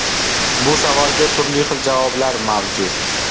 Bu savolga turli xil javoblar mavjud.